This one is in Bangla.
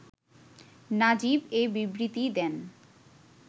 নাজিব এ বিবৃতি দেন